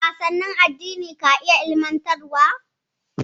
Wasannin addini ka iya ilimantarwa.